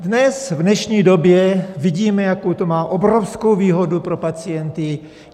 Dnes, v dnešní době vidíme, jakou to má obrovskou výhodu pro pacienty.